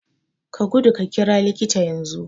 Ka gudu ka ƙira likita yanzu